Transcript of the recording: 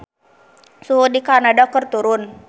Suhu di Kanada keur turun